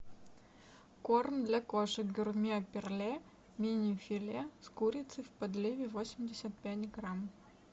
корм для кошек гурме перле мини филе с курицей в подливе восемьдесят пять грамм